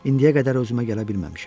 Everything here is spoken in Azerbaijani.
İndiyə qədər özümə gələ bilməmişəm.